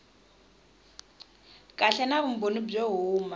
kahle na vumbhoni byo huma